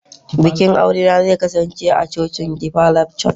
bikin aurena zai kasance a cocin deeper life church